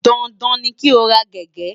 Dandan ni kí o ra gègé!